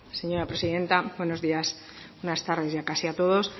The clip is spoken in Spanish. señora presidenta buenos días buenas tardes ya casi a todos